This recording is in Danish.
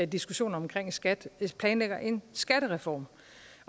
diskussionen om skat planlægger en skattereform